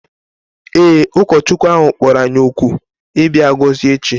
Ee, ụkọchukwu ahụ kpọrọ anyị òkù ịbịa gọzie echi